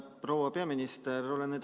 Proua peaminister!